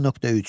10.3.